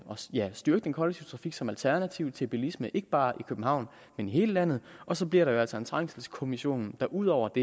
styrke den kollektive trafik som alternativ til bilismen ikke bare i københavn men i hele landet og så bliver der jo altså en trængselskommission der ud over